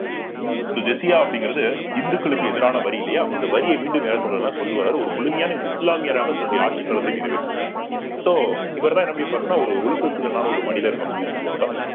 so ஜிஸியா அப்படிங்கிறது இந்துக்களுக்கு எதிரான வரி இல்லையா அந்த வரியை மீண்டும் யார் கொண்டு வர்றன்னா கொண்டு வர்றாரு ஒரு முழுமையான இஸ்லாமியராக தன்னுடைய ஆட்சிக் காலத்தை நிறைவேற்றுகிறார் so இவர்தான் என்ன பண்ணிப்பாருன்னா ஒரு ஒழுக்க சீலனான ஒரு மனிதர் அப்படி சொல்லுவாங்க.